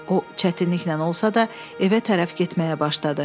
O çətinliklə olsa da evə tərəf getməyə başladı.